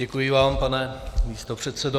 Děkuji vám, pane místopředsedo.